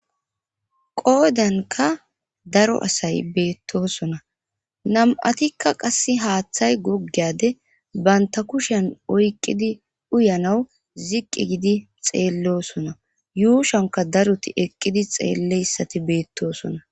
Qoodankka daro asay beettosona nam'atikka qassi haaththay goggeyade baynta kushen oyqqidi uyanaw ziqqi gidi xeellosona yuushanka daroti eqqidi xeelleyssati beettoosona